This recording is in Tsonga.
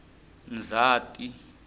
ndzhati